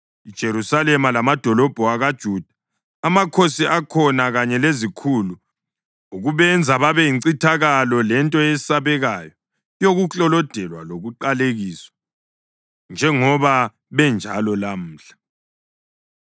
IJerusalema lamadolobho akoJuda, amakhosi akhona kanye lezikhulu, ukubenza babe yincithakalo lento eyesabekayo yokuklolodelwa lokuqalekiswa, njengoba benjalo lamhla;